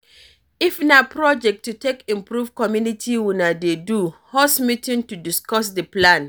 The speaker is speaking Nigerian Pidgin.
If na project to take improve community una dey do, host meeting to discuss di plan